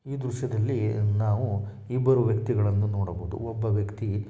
ಈ ದೃಶ್ಯದಲ್ಲಿ ನಾವು ಇಬ್ಬರೂ ವ್ಯಕ್ತಿಗಳನ್ನು ನೋಡಬಹುದು ಒಬ್ಬ ವ್ಯಕ್ತಿ --